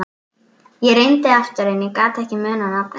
Ég reyndi aftur en ég gat ekki munað nafnið.